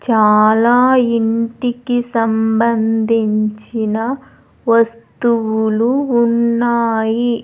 చాలా ఇంటికి సంబంధించిన వస్తువులు ఉన్నాయి.